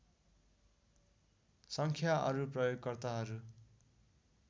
सङ्ख्या अरु प्रयोगकर्ताहरू